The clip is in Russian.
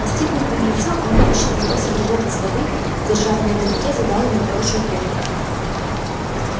настигнув беглеца он вытащил его загривок из воды держа в левой руке задал ему хорошую трёпку